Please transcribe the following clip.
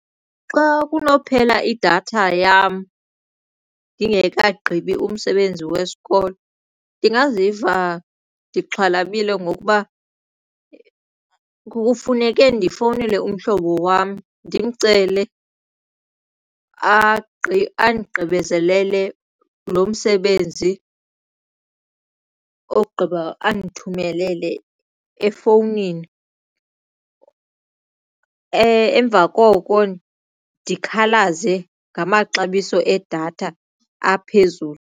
Xa kunopheka idatha yam ndingekagqibi umsebenzi wesikolo ndingaziva ndixhalabile ngokuba kufuneke ndifowunele umhlobo wam ndimcele andigqibezelele lo msebenzi ogqiba andithumelele efowunini emva koko ndikhalaze ngamaxabiso edatha aphezulu.